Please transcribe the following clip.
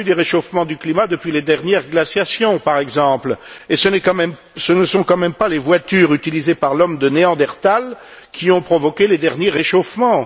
Il y a eu des réchauffements du climat depuis les dernières glaciations, par exemple, et ce ne sont quand même pas les voitures utilisées par l'homme de Neandertal qui ont provoqué les derniers réchauffements.